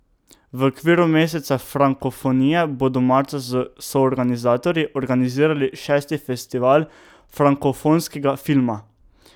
V okviru meseca frankofonije bodo marca s s soorganizatorji organizirali šesti festival frankofonskega filma.